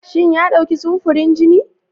Shin ya dauki samfurin jini?